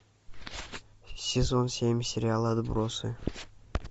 сезон семь сериала отбросы